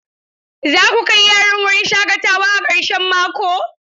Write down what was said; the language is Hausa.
Za ku kai yaran wurin shaƙatawa a karshen mako?